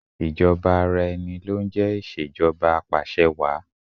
Ìjọba ara ẹni lọ ń jẹ́ Ìṣèjọba Apàṣẹwàá.